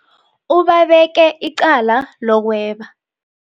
Ubabeke icala lokweba.